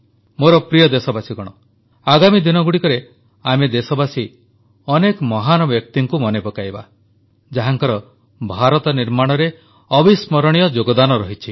ମୋର ପ୍ରିୟ ଦେଶବାସୀଗଣ ଆଗାମୀ ଦିନଗୁଡ଼ିକରେ ଆମେ ଦେଶବାସୀ ଅନେକ ମହାନ ବ୍ୟକ୍ତିଙ୍କୁ ମନେ ପକାଇବା ଯାହାଙ୍କର ଭାରତ ନିର୍ମାଣରେ ଅବିସ୍ମରଣୀୟ ଯୋଗଦାନ ରହିଛି